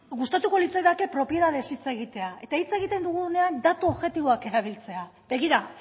gustatuko litzaidake propietatez hitz egitea eta hitz egiten dugunean datu objektiboak erabiltzea begira